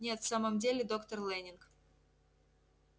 нет в самом деле доктор лэннинг